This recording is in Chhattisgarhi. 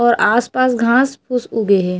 और आस-पास घाँस फूस उगे हे।